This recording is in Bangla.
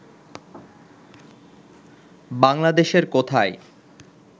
বাংলাদেশের কোথায়